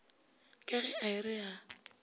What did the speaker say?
ka ge a re a